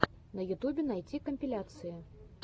на ютубе найти компиляции